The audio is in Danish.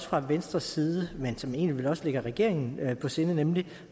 fra venstres side men som vel egentlig også ligger regeringen på sinde nemlig